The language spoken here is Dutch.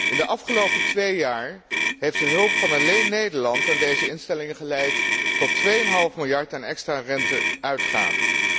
In de afgelopen twee jaar heeft de hulp van alleen Nederland aan deze instellingen geleid tot 2,5 miljard aan extra rente uitgaven.